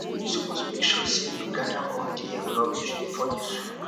you suppose make sure sey you gather all di um rubbish before you sweep